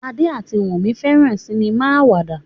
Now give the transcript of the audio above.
Ade ati Wumi feran sinima awada.